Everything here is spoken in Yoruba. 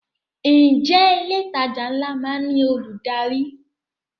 Ǹjẹ́ ilé ìtajà ńlá má ń ní olùdarí?